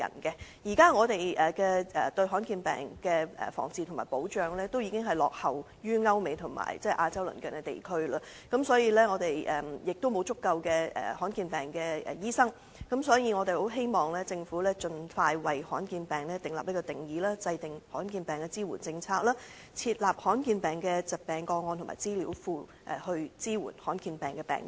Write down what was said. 香港對罕見疾病的防治和保障已落後於歐美和亞洲鄰近地區，亦沒有足夠醫治罕見疾病的醫生，所以，我們希望政府盡快為罕見疾病訂立定義和制訂罕見疾病的支援政策，設立罕見疾病的疾病個案和資料庫，以支援患上罕見疾病的病人。